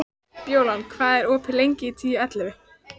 Bjólan, hvað er opið lengi í Tíu ellefu?